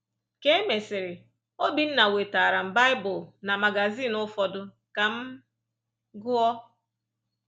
Ka e mesịrị, Obinna wetaara m Baịbụl na magazin ụfọdụ ka m gụọ.